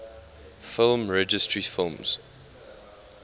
film registry films